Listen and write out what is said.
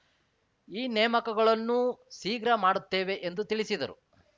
ಈ ನೇಮಕಗಳನ್ನೂ ಶೀಘ್ರ ಮಾಡುತ್ತೇವೆ ಎಂದು ತಿಳಿಸಿದರು